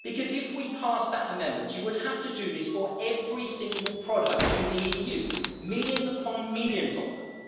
If we passed that amendment, you would have to do this for every single product in the EU millions upon millions of them.